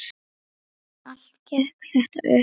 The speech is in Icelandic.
En allt gekk þetta upp.